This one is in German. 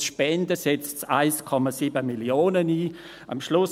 aus Spenden setzt es 1,7 Mio. Franken ein.